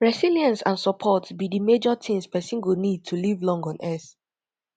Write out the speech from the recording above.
resilience and support be di major things pesin go need to live long on earth